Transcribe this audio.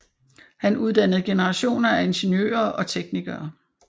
Han uddannede generationer af ingeniører og teknikere